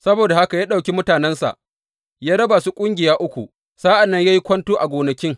Saboda haka ya ɗauki mutanensa, ya raba su ƙungiya uku, sa’an nan ya yi kwanto a gonakin.